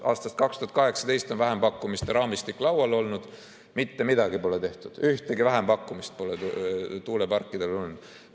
Aastast 2018 on vähempakkumiste raamistik laual olnud: mitte midagi pole tehtud, ühtegi vähempakkumist pole tuuleparkidele tulnud.